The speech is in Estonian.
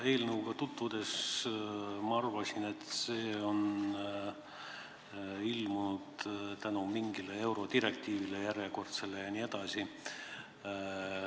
Eelnõuga tutvudes ma arvasin, et see on tekkinud tänu mingile järjekordsele eurodirektiivile.